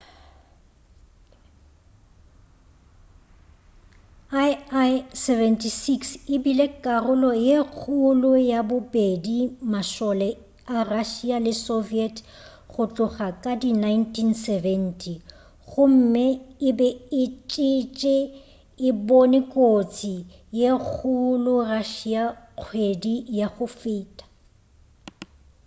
il-76 e bile karolo ye kgolo ya bobedi mašole a russia le soviet go tloga ka di 1970 gomme e be e tšetše e bone kotsi ye kgolo russia kgwedi ya go feta